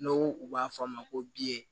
N'o u b'a fɔ a ma ko